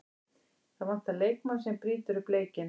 Það vantar leikmann sem brýtur upp leikinn.